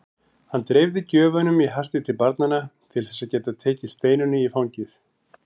Hann dreifði gjöfunum í hasti til barnanna til þess að geta tekið Steinunni í fangið.